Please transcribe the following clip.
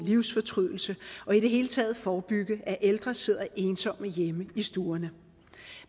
livsfortrydelse og i det hele taget forebygge at ældre sidder ensomme hjemme i stuerne